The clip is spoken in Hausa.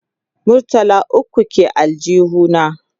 murtala ukwu ke aljihu na